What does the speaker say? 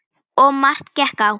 Og margt gekk á.